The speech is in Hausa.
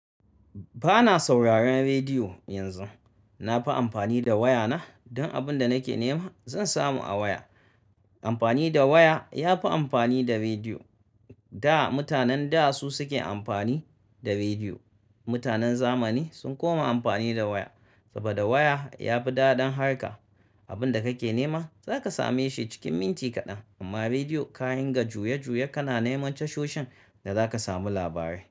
Ba na sauraron rediyo yanzu. Na fi amfani da waya na don abin da nake nema zan samu a waya. Amfani da waya ya fi amfani da rediyo. Da mutanen da su suke amfani da rediyo. Mutanen zamani sun koma amfani da waya saboda waya ya fi daɗin harka. Abin da kake nema za ka same shi cikin minti kaɗan amma rediyo ka dinga juye-juye kana neman tashoshin da za ka samu labarai.